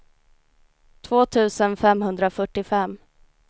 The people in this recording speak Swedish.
två tusen femhundrafyrtiofem